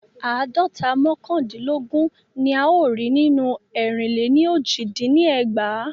Àádọ́ta mọ́kàndinlogun ni a o rí nínú erinle ni oji dín ní ẹgbàá.